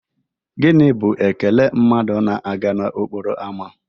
Gini bụ ekele mmadụ na-aga n'okporo ámá?